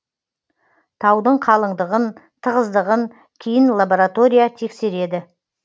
таудың қалыңдығын тығыздығын кейін лаборатория тексереді